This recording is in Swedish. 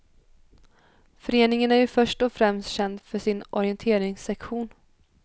Föreningen är ju först och främst känd för sin orienteringssektion.